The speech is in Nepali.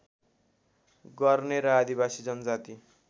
गर्ने र आदिवासी जनजाति